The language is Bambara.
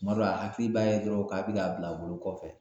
Kuma dɔ la a hakili b'a ye dɔrɔn, k'a bi k'a a bila a bolo kɔfɛ